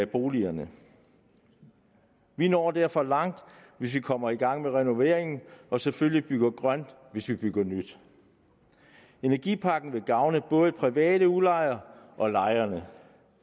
boligerne vi når derfor langt hvis vi kommer i gang med renoveringen og selvfølgelig bygger grønt hvis vi bygger nyt energipakken vil gavne både private udlejere og lejere